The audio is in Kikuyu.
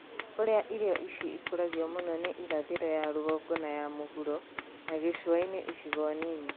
Kũrĩa irio ici ikũragĩrio mũno nĩ irathĩro ya rũgongo nay a mũhuro na gĩcũa-inĩ icigo nini